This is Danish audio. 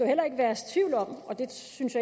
heller ikke herske tvivl om og det synes